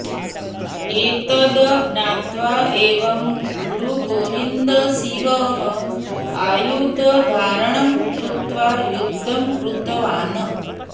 एतद् ज्ञात्वा एव गुरुगोविन्दसिंहः आयुधधारणं कृत्वा युद्धं कृतवान्